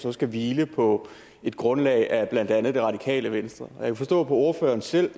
så skal hvile på et grundlag af blandt andet det radikale venstre og jeg kan forstå på ordføreren selv